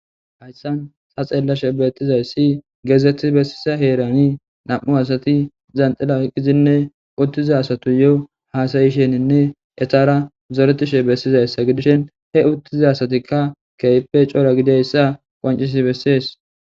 Hayissan ta xelashshe betizayissi gezeti besiza heran nam'u asati zantil oykidan de'yo asatuyo hasayishshene etara zoretishshe besizayissa gidishin he uti diza asatikka kehippe cora gididays qoncis besses